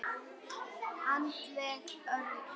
Andleg örvun.